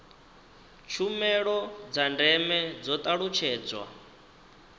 tshumelo dza ndeme dzo talutshedzwa